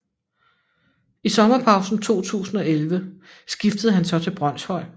I sommerpausen 2011 skiftede han så til Brønshøj